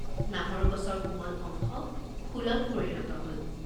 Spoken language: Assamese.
নাহৰ গছৰ কোমল অংশ ফুলত পৰিণত হল।